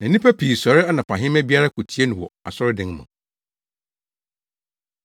Na nnipa pii sɔre anɔpahema biara kotie no wɔ asɔredan mu.